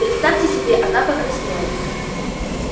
представьте себе она покраснела